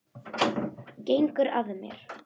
Gengur að mér.